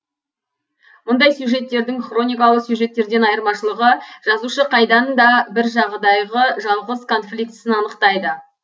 мұндай сюжеттердің хроникалы сюжеттерден айырмашылығы жазушы қайдан да бір жағдайғы жалғыз конфликтісін анықтайды